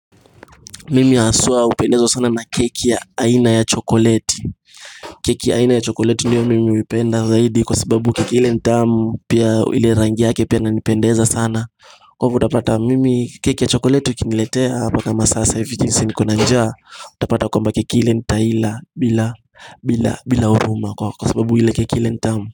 Mimi haswa hupendezwa sana na keki ya aina ya chokoleti keki ya aina ya chokoleti ndiyo mimi huipenda zaidi Kwa sababu keki ile ni tamu pia ile rangi yake pia inanipendeza sana Kwangu utapata mimi keki ya chokoleti ukiniletea paka masasaa fiti ni saa nikiwa na njaa utapata kwamba keki ile ntai ila bila huruma Kwa sababu ile keki ile ni tamu.